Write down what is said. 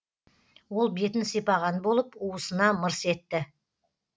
ол бетін сипаған болып уысына мырс етті